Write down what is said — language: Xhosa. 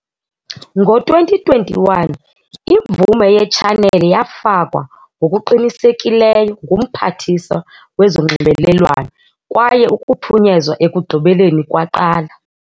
Ngo-2021, imvume yetshaneli yafakwa ngokuqinisekileyo nguMphathiswa wezoNxibelelwano kwaye ukuphunyezwa ekugqibeleni kwaqala.